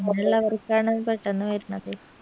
അങ്ങനുള്ളവർക്കാണ് പെട്ടെന്ന് വർണത്